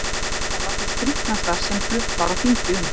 Þessi ræða var sú skrítnasta sem flutt var á þingi um